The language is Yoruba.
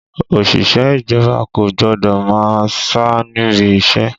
Òṣìṣẹ́ ìjọba kò gbọ́dọ̀ máa sá níbi iṣẹ́!